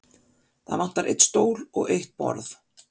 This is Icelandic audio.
Það vantar einn stól og eitt borð.